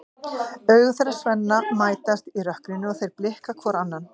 Augu þeirra Svenna mætast í rökkrinu og þeir blikka hvor annan.